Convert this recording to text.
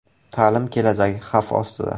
“Ta’lim kelajagi xavf ostida.